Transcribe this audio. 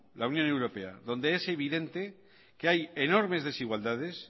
la unión europea donde es evidente que hay enormes desigualdades